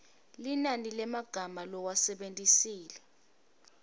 linani lemagama lowasebentisile